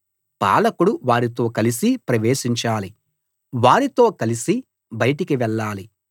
పాలకుడు వారితో కలిసి ప్రవేశించాలి వారితో కలిసి బయటికి వెళ్ళాలి